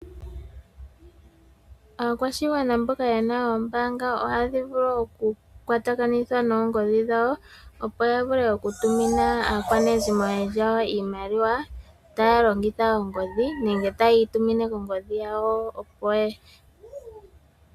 Aakwashigwana mboka ye na oombaanga ohaa dhivulu oku kwatakanitha noongodhi dhawo, opo ya vule oku tumina aakwanezimo lyawo iimaliwa, taa longitha ongodhi nenge taya yi tumine kongodhi dhawo opo y...